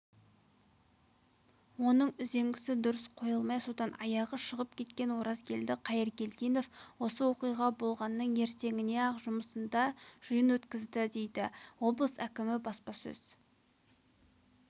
оның үзеңгісі дұрыс қойылмай содан аяғы шығып кеткен оразгелді қайыргелдинов осы оқиға болғанның ертеңіне-ақ жұмысында жиын өткізді дейді облыс әкімі баспасөз